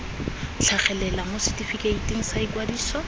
tlhagelela mo setefikeiting sa ikwadiso